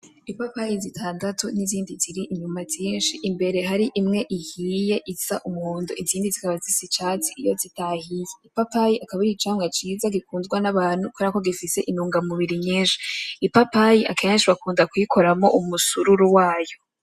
Ipapayi zitandatu n'izindi ziri inyuma zishi hakaba hari imwe ihiye isa umuhondo izindi zikaba zisa icatsi iyo zitahiye ipapayi akaba ari icamwa ciza gikundwa n'abantu kuberako gifise intungamubiri nyishi ipapayi keshi bakunda kuyikoramwo umusururu wayo.